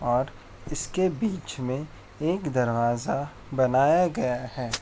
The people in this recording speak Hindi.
और इसके बीच में एक दरवाजा बनाया गया है|